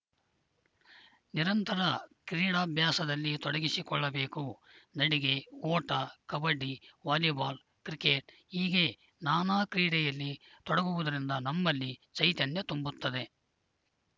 ನಿರಂತರ ಕ್ರೀಡಾಭ್ಯಾಸದಲ್ಲಿ ತೊಡಗಿಸಿ ಕೊಳ್ಳಬೇಕು ನಡಿಗೆ ಓಟ ಕಬಡ್ಡಿ ವಾಲಿಬಾಲ್‌ ಕ್ರಿಕೆಟ್‌ ಹೀಗೆ ನಾನಾ ಕ್ರೀಡೆಯಲ್ಲಿ ತೊಡಗುವುದರಿಂದ ನಮ್ಮಲ್ಲಿ ಚೈತನ್ಯ ತುಂಬುತ್ತದೆ